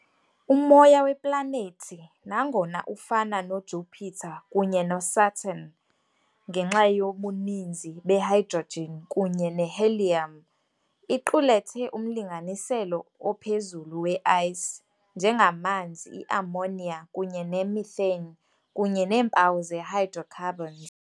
Umoya weplanethi, nangona ufana noJupiter kunye noSaturn ngenxa yobuninzi be-hydrogen kunye ne-helium, iqulethe umlinganiselo ophezulu we "ice", njengamanzi, i-ammonia kunye ne-methane, kunye neempawu ze-hydrocarbons.